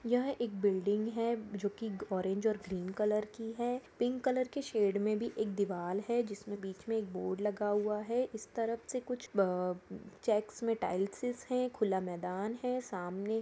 यह एक बिल्डिंग है जो की ओरेंज और ग्रीन कलर की है पिंक कलर के शेड में एक दीवाल है जिसमें बीच में एक बोर्ड लगा हुआ है इस तरफ से कुछ बअ चेक्स में टाइल्स है खुला मैदान है सामने--